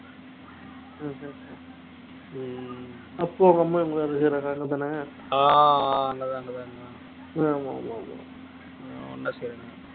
அஹ் அங்கதான் அங்கதான்அங்கதான் ஆமா